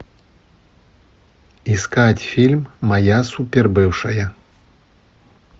искать фильм моя супер бывшая